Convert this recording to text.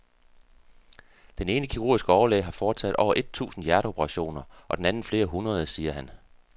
Den ene kirurgiske overlæge har foretaget over et tusind hjerteoperationer og den anden flere hundrede, siger han.